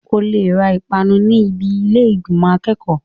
O lè ra ìpanu ní ibi ilé ìgbìmò akẹ́kọ̀ọ́.